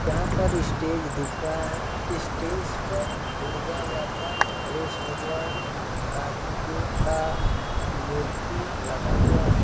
यहा पर स्टेज दिख रहा है स्टेज पर दुर्गा माता गणेश भगवान कार्तिक का मूर्ति लगा हुआ है।